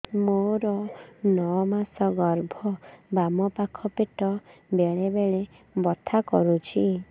ମୋର ନଅ ମାସ ଗର୍ଭ ବାମ ପାଖ ପେଟ ବେଳେ ବେଳେ ବଥା କରୁଛି